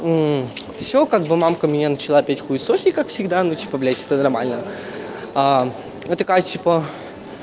все как бы мамка меня начала опять хуесосить как всегда ну типо блять это нормально но такая типа